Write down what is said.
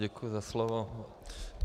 Děkuji za slovo.